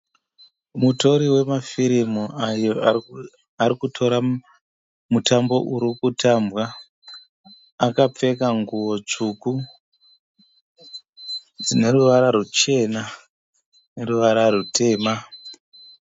Mutori wemafirimu ayo arikutora mutambo urikutambwa. Akapfeka nguwo tsvuku dzineruvara rwuchena neruvara rwutema.